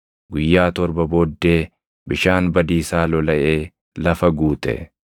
Guyyaa torba booddee bishaan badiisaa lolaʼee lafa guute.